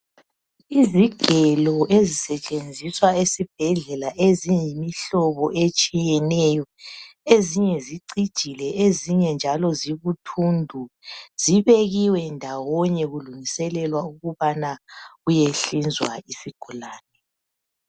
Izigelo ezisetshenziswa esibhedlela eziyimihlobo etshiyeneyo. Ezinye zicijile, ezinye njalo zibuthundu zibekiwe ndawonye kulungiselelwa ukubana kuye hlinzwa isigulane.